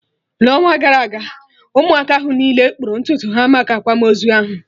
n'ọnwa gara aga Ụmụaka ahụ niile kpụrụ ntutu ha maka akwamozu ahụ